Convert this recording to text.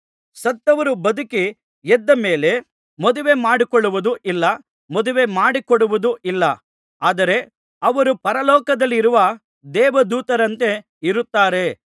ಸತ್ತವರು ಬದುಕಿ ಎದ್ದಮೇಲೆ ಮದುವೆ ಮಾಡಿಕೊಳ್ಳುವುದೂ ಇಲ್ಲ ಮದುವೆ ಮಾಡಿಕೊಡುವುದೂ ಇಲ್ಲ ಆದರೆ ಅವರು ಪರಲೋಕದಲ್ಲಿರುವ ದೇವದೂತರಂತೆ ಇರುತ್ತಾರೆ